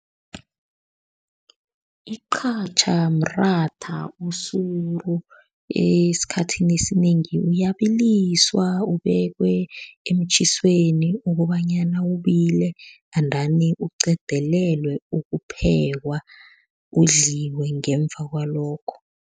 Iqhatjha mratha osuru, esikhathini esinengi uyabiliswa, ubekwe emtjhisweni ukobanyana ubile endani uqedelelwe ukuphekwa, udliwe ngemva kwalokho.